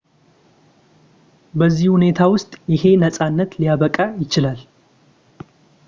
በዚህ ሁኔታ ውስጥ ይሄ ነጻነት ሊያበቃ ይችላል